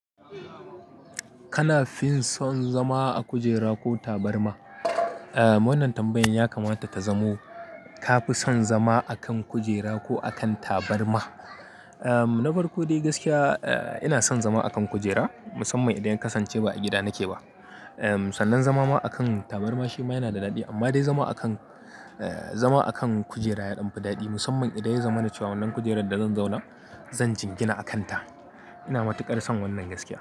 Kana fin son zama a kujera ko tabarma? Wannan tambayan ya kamata ta zamo ka fi son zama a kan kujera ko a kan tabarma? Na farko dai gaskiya ina son zama a kan kujera musamman idan ya kasance ba a gida nake ba. Sannan zama ma akan tabarma shi ma yana da daɗi amma dai zama akan, zama akan kujera yaɗan fi daɗi musamman idan ya zamana cewa wannan kujerar da zan zauna, zan jingina a kanta. Ina matuƙar son wannan gaskiya.